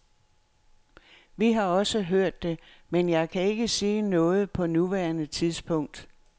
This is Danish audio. Vi har også hørt det, men jeg kan ikke sige noget på nuværende tidspunkt.